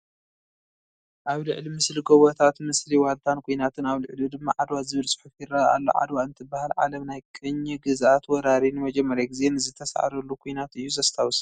ኣብ ልዕሊ ምስሊ ጐቦታት ምስሊ ዋልታን ኲናትን ኣብ ልዕሊኡ ድማ ዓድዋ ዝብል ፅሑፍ ይርአ ኣሎ፡፡ ዓድዋ እንትበሃል ዓለም ናይ ቅኝ ግዝኣት ወራሪ ንመጀመርያ ግዜ ንዝተሳዕረሉ ኩነት እዩ ዘስታውስ፡፡